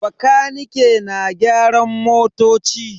Bakanike na gyaran motoci.